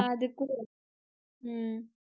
அது குடு உம்